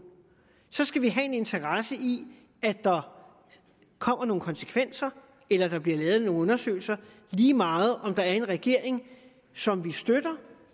skal vi have en interesse i at der kommer nogle konsekvenser eller bliver lavet nogle undersøgelser lige meget om der er en regering som vi støtter